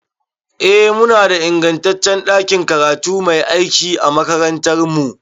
Eh, muna da ingantaccen ɗakin karatu mai aiki a makarantarmu.